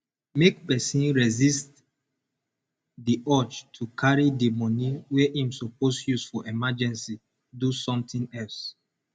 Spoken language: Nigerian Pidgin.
make person resist di urge to carry di money wey im suppose use for emergency do something else